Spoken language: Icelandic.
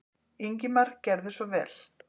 Ingimar gerðu svo vel.